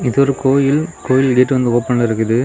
இது ஒரு கோயில் கோயில் கேட்டு வந்து ஓபன்ல இருக்குது.